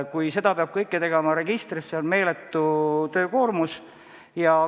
Kui seda kõike peab tegema registris, on töökoormus meeletu.